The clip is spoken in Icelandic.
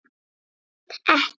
Nei, hreint ekki.